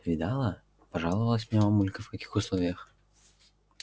видала пожаловалась мне мамулька в каких условиях